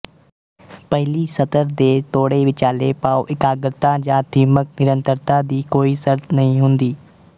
ਪਹਿਲੀ ਸਤਰ ਦੇ ਤੋੜੇ ਵਿਚਾਲ਼ੇ ਭਾਵ ਇਕਾਗਰਤਾ ਜਾਂ ਥੀਮਕ ਨਿਰੰਤਰਤਾ ਦੀ ਕੋਈ ਸ਼ਰਤ ਨਹੀਂ ਹੁੰਦੀ